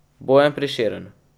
Bojan Prešeren.